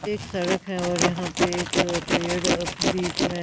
एक सड़क है और यहां पे एक पेड़ बीच में--